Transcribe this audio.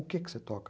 O que que você toca?